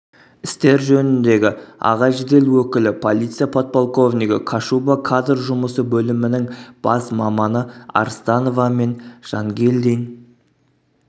істер жөніндегі аға жедел өкілі полиция подполковнигі кашуба кадр жұмысы бөлімінің бас маманы арстановамен жангелдин